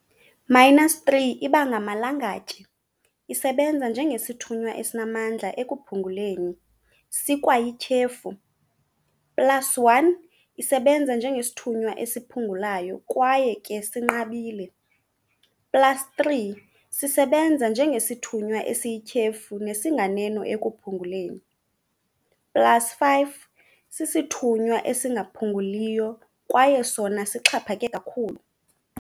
-3 ibangamalangatye, isebenza njengesithunywa esinamandla ekuphunguleni, sikwayityhefu- plus1 isebenza njengesithunywa esiphungulayo akwaye ke sinqabile, plus3 sisebenza njengesithunywa esiyityhefu nesinganeno ekuphunguleni, plus5 sisithunywa esingaphunguliyo kwaye sona sixhaphake kakhulu.